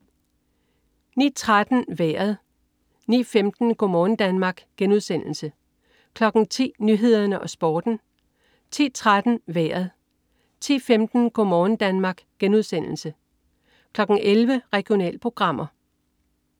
09.13 Vejret (man-fre) 09.15 Go' morgen Danmark* (man-fre) 10.00 Nyhederne og Sporten (man-fre) 10.13 Vejret (man-fre) 10.15 Go' morgen Danmark* (man-fre) 11.00 Regionalprogrammer (man-fre)